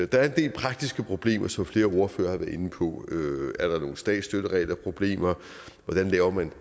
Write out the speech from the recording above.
der er en del praktiske problemer som flere ordførere har været inde på er der nogle statsstøtteregelproblemer hvordan laver man